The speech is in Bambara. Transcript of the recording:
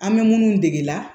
An bɛ minnu degela